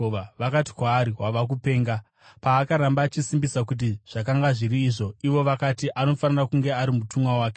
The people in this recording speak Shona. Vakati kwaari, “Wava kupenga.” Paakaramba achisimbisisa kuti zvakanga zviri izvo, ivo vakati, “Anofanira kunge ari mutumwa wake.”